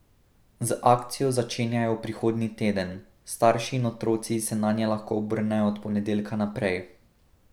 Z akcijo začenjajo prihodnji teden, starši in otroci se nanje lahko obrnejo od ponedeljka naprej.